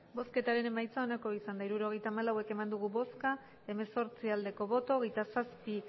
hirurogeita hamalau eman dugu bozka hemezortzi bai hogeita zazpi